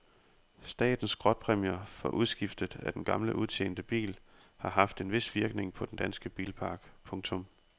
Statens skrotpræmier for udskiftet af den gamle udtjente bil har haft en vis virkning på den danske bilpark. punktum